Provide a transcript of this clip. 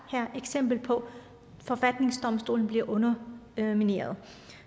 eksempel på at forfatningsdomstolen bliver undermineret